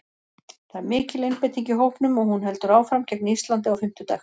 Það er mikil einbeiting í hópnum og hún heldur áfram gegn Íslandi á fimmtudag.